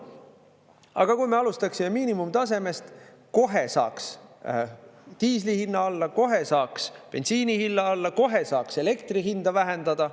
Aga kui me alustaksime miinimumtasemest, kohe saaks diisli hinna alla, kohe saaks bensiini hinna alla, kohe saaks elektri hinda vähendada.